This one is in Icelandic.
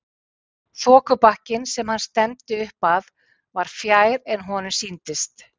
Þokubakkinn sem hann stefndi upp að var fjær en honum sýndist.